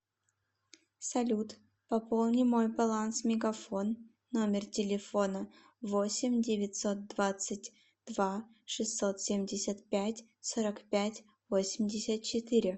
салют пополни мой баланс мегафон номер телефона восемь девятьсот двадцать два шестьсот семьдесят пять сорок пять восемьдесят четыре